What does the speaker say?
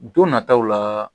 Don nataw la